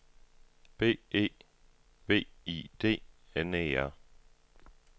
B E V I D N E R